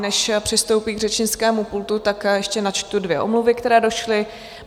Než přistoupí k řečnickému pultu, tak ještě načtu dvě omluv, které došly.